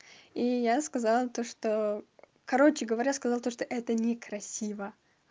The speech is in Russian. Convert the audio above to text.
и я сказала то что короче говоря сказала то что это некрасиво